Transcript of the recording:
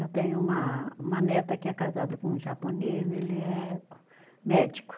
Eu tenho uma uma neta que é casada com um japonês, ele é médico.